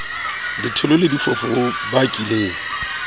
ditholo le difofu ho bakileng